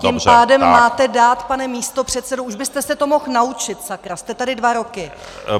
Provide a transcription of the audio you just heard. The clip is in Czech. Tím pádem máte dát, pane místopředsedo, už byste se to mohl naučit, sakra, jste tady dva roky!